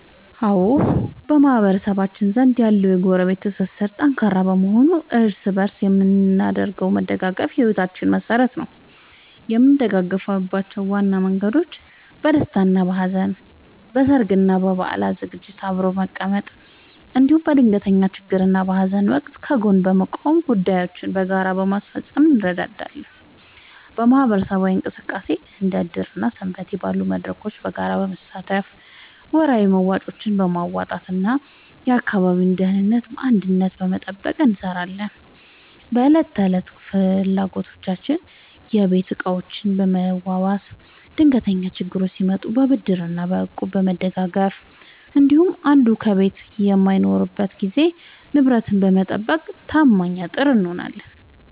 አዎ፣ በማህበረሰባችን ዘንድ ያለው የጎረቤት ትስስር ጠንካራ በመሆኑ እርስ በእርስ የምናደርገው መደጋገፍ የሕይወታችን መሠረት ነው። የምንደጋገፍባቸው ዋና መንገዶች፦ በደስታና በሐዘን፦ በሠርግና በበዓላት ዝግጅቶችን አብሮ በመቀመም፣ እንዲሁም በድንገተኛ ችግርና በሐዘን ወቅት ከጎን በመቆምና ጉዳዮችን በጋራ በማስፈጸም እንረዳዳለን። በማኅበራዊ እሴቶች፦ እንደ ዕድር እና ሰንበቴ ባሉ መድረኮች በጋራ በመሳተፍ፣ ወርሃዊ መዋጮዎችን በማዋጣትና የአካባቢን ደህንነት በአንድነት በመጠበቅ እንተሳሰራለን። በዕለት ተዕለት ፍላጎቶች፦ የቤት ዕቃዎችን በመዋዋስ፣ ድንገተኛ ችግር ሲመጣ በብድርና በእቁብ በመደጋገፍ እንዲሁም አንዱ ከቤት በማይኖርበት ጊዜ ንብረትን በመጠባበቅ ታማኝ አጥር እንሆናለን።